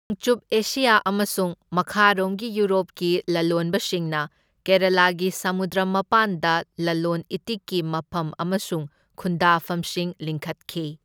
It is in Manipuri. ꯅꯣꯡꯆꯨꯞ ꯑꯦꯁꯤꯌꯥ ꯑꯃꯁꯨꯡ ꯃꯈꯥꯔꯣꯝꯒꯤ ꯌꯨꯔꯣꯄꯀꯤ ꯂꯂꯣꯟꯕꯁꯤꯡꯅ ꯀꯦꯔꯥꯂꯥꯒꯤ ꯁꯃꯨꯗ꯭ꯔ ꯃꯄꯥꯟꯗ ꯂꯂꯣꯟ ꯏꯇꯤꯛꯀꯤ ꯃꯐꯝ ꯑꯃꯁꯨꯡ ꯈꯨꯟꯗꯥꯐꯝꯁꯤꯡ ꯂꯤꯡꯈꯠꯈꯤ꯫